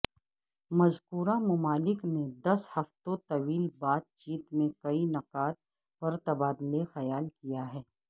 مذکورہ ممالک نے دس ہفتوں طویل بات چیت میں کئی نکات پر تبادلے خیال کیاہے